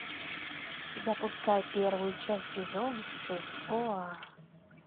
запускай первую часть сезона шесть оа